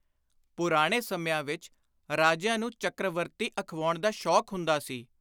ਪੁਰਾਣੇ ਸਮਿਆਂ ਵਿਚ ਰਾਜਿਆਂ ਨੂੰ ਚੱਕ੍ਰਵਰਤੀ ਅਖਵਾਉਣ ਦਾ ਸ਼ੌਕ ਹੁੰਦਾ ਸੀ।